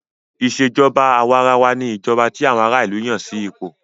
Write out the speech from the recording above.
Ìṣèjọba àwàrawa ní ìjọba tí àwọn ará ìlú Yàn sí ipò.